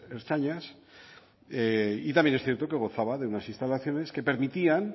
ertzainas y también es cierto que gozaba de unas instalaciones que permitían